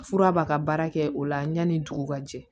Fura b'a ka baara kɛ o la yanni dugu ka jɛ